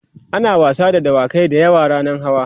ana wasa da dawakai da yawa rannan hawa